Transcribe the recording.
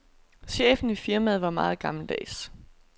Chefen i firmaet var meget gammeldags.